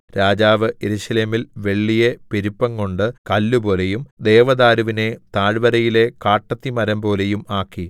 രാജാവ് യെരൂശലേമിൽ വെള്ളിയെ പെരുപ്പംകൊണ്ട് കല്ലുപോലെയും ദേവദാരുവിനെ താഴ്വരയിലെ കാട്ടത്തിമരംപോലെയും ആക്കി